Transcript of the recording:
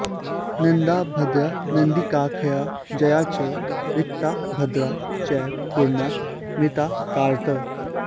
नंदा भद्रा नंदिकाख्या जया च रिक्ता भद्रा चैव पूर्णा मृतार्कात्